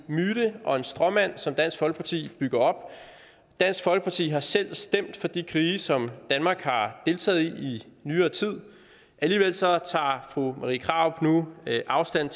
myte og en stråmand som dansk folkeparti bygger op dansk folkeparti har selv stemt for de krige som danmark har deltaget i i nyere tid alligevel tager fru marie krarup nu afstand